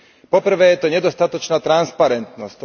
Po prvé, je to nedostatočná transparentnosť.